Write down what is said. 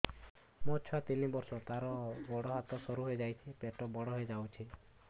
ମୋ ଛୁଆ ତିନି ବର୍ଷ ତାର ଗୋଡ ହାତ ସରୁ ହୋଇଯାଉଛି ପେଟ ବଡ ହୋଇ ଯାଉଛି